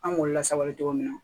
An b'olu lasabali cogo min na